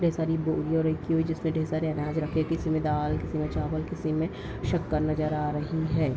ढ़ेर सारी बोरिया रखी हुई जिसमें ढ़ेर सारे अनाज रखे हैं किसी में दाल किसी में चावल किसी में शक्कर नजर आ रही है।